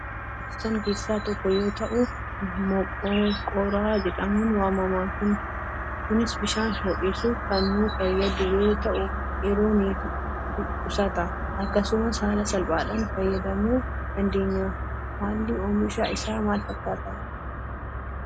Kun meeshaa jireenyaf nuu barbaachisaan keessa tokko yoo tahuu moqorqora jedhamuun waamama. Kunis bishaan ho'isuuf kan nuu fayyadu yoo tahuu yeroo ni qusata. Akkasumas haala salphaadhan fayyadamuu dandeenya. Haalli omisha isaa maal fakkaata?